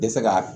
Tɛ se ka